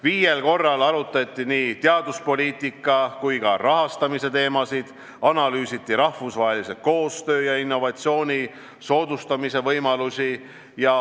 Viiel korral arutati nii teaduspoliitika kui ka rahastamise teemasid, analüüsiti rahvusvahelise koostöö ja innovatsiooni soodustamise võimalusi.